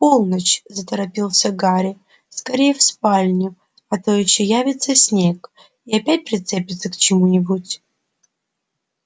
полночь заторопился гарри скорее в спальню а то ещё явится снегг и опять прицепится к чему-нибудь